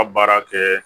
Ka baara kɛ